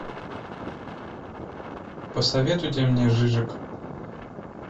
посоветуйте мне жижек